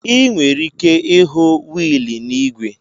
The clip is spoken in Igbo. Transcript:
Ị nwere ike ịhụ wiili n'ígwè.